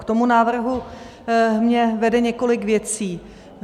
K tomu návrhu mě vede několik věcí.